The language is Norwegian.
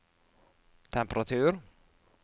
temperatur